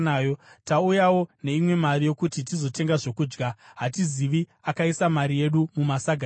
Tauyawo neimwe mari yokuti tizotenga zvokudya. Hatizivi akaisa mari yedu mumasaga edu.”